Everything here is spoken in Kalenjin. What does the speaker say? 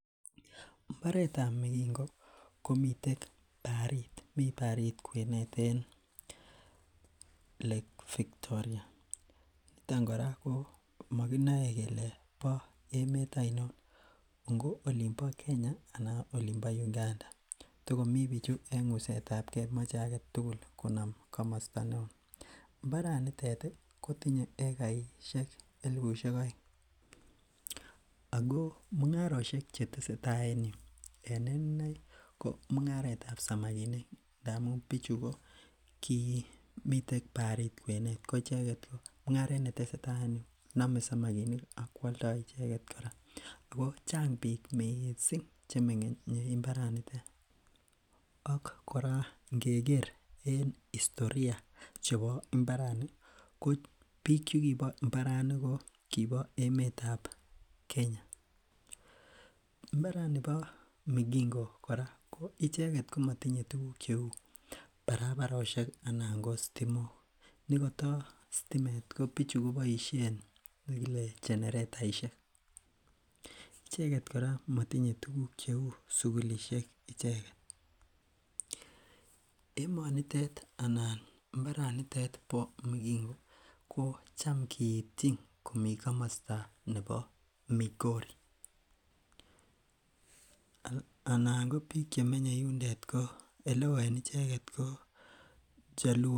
mbaretab migingo komiten bariit, miten barit Victoria. Nito kora komaginae kele ba emet ainon , ngo olimbo Kenya anan olimbo Uganda. Togomii bichu en ngusetabke mache agetugul konam kamasta neo, imbaranon nitet kotinye egaisiek elibusiek aeng. Ago mung'arosiek chetesetai en yu ko en inei ko mung'aretab samakinik ngamun bichu ko kimiten barit kwenet ko icheket ih . Ko mung'aret netesetai en yu ko Chang missing. Ak kora ingeker historia chebo imbarani ko biik chekibo imbarani ko kibo emetab Kenya. Imbaranibo migingo kora icheket komatinye tuguk cheuu paraparosiek ih akoth stimok, nikato sitimet kobaishien cheneretaishek. Icheket kora komatinye tuguk cheuu sugulisiek icheket. Emonotet anan imbaret nebo migingo ko Cham giityin komi komasta nebo migori . Eleo en bik chemenye yundet ko chaluo.